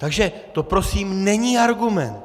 Takže to prosím není argument.